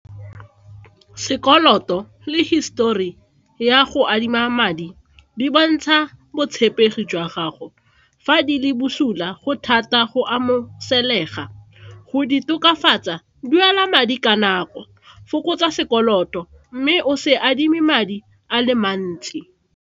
Sekoloto le hisetori ya go adima madi di bontsha botshepegi jwa gago fa di le bosula go thata go , go di tokafatsa duela madi ka nako fokotsa sekoloto mme o se adime madi a le mantsi.